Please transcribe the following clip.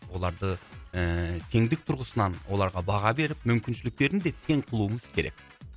оларды ыыы теңдік тұрғысынан оларға баға беріп мүмкіншіліктерін де тең қылуымыз керек